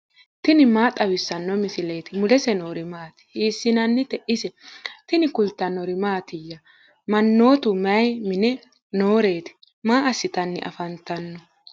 tini maa xawissanno misileeti ? mulese noori maati ? hiissinannite ise ? tini kultannori mattiya? Manoottu may mine nooreti? maa assanni affammanno?